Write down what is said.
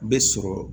Bɛ sɔrɔ